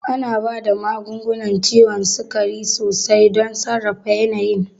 Ana ba da magungunan ciwon sukari sosai don sarrafa yanayin.